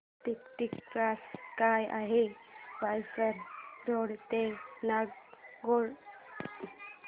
ticket price काय आहे Vasai road ते नागोठणे